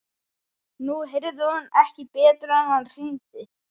Nú heyrði hún ekki betur en að hann hringdi.